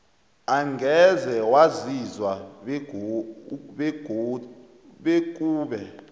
angeze waziswa bekube